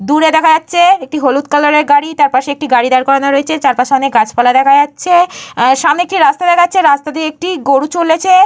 দূরে দেখা যাচ্ছে একটা হলুদ কালার -এর গাড়ি। তার পাশে একটি গাড়ি দাঁড় করানো রয়েছে। চারপাশে অনেক গাছপালা দেখা যাচ্ছে। আঃ সামনে একটি রাস্তা দেখা যাচ্ছে। রাস্তা দিয়ে গরু চলেছে।